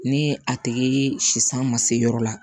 Ni a tigi si san ma se yɔrɔ la